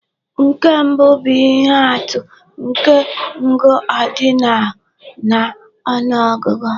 Nke mbụ bụ ihe atụ nke ngụ ordinal na ọnụ ọgụgụ.